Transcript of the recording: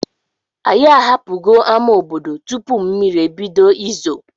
Anyị ahapụgo ama obodo tupu mmiri ebido izo.